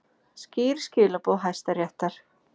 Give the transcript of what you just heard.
Skýr skilaboð Hæstaréttar